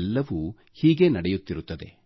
ಎಲ್ಲವೂ ಹೀಗೆ ನಡೆಯುತ್ತಿರುತ್ತದೆ